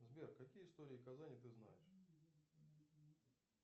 сбер какие истории казани ты знаешь